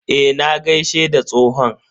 Eh, na gaishe da tsohon.